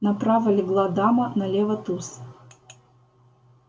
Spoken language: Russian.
направо легла дама налево туз